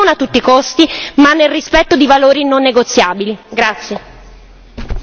Noi vogliamo un accordo, non a tutti i costi ma nel rispetto di valori non negoziabili.